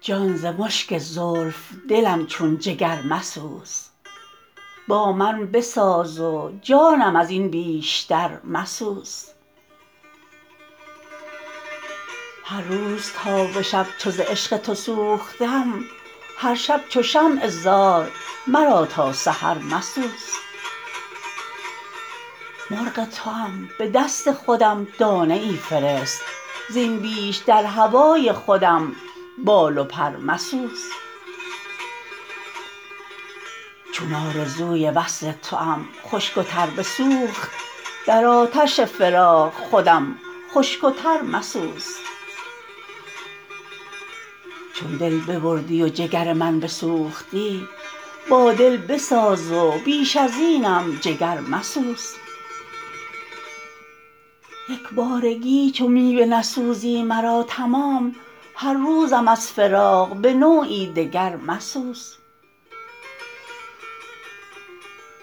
جان ز مشک زلف دلم چون جگر مسوز با من بساز و جانم ازین بیشتر مسوز هر روز تا به شب چو ز عشق تو سوختم هر شب چو شمع زار مرا تا سحر مسوز مرغ توام به دست خودم دانه ای فرست زین بیش در هوای خودم بال و پر مسوز چون آرزوی وصل توام خشک و تر بسوخت در آتش فراق خودم خشک و تر مسوز چون دل ببردی و جگر من بسوختی با دل بساز و بیش ازینم جگر مسوز یکبارگی چو می بنسوزی مرا تمام هر روزم از فراق به نوعی دگر مسوز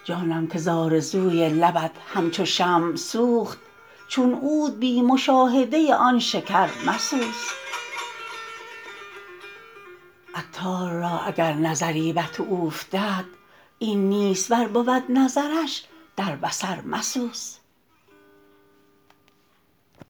جانم که زآرزوی لبت همچو شمع سوخت چون عود بی مشاهده آن شکر مسوز عطار را اگر نظری بر تو اوفتد این نیست ور بود نظرش در بصر مسوز